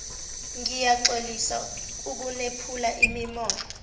ngiyaxolisa ukunephula imimoya